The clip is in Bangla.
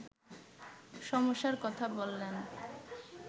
সমস্যার কথা বললেন